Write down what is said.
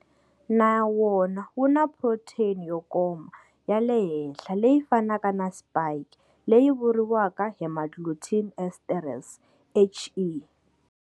Na wona wu na phrotheyini yo koma ya le henhla leyi fanaka na spike leyi vuriwaka hemagglutinin esterase HE.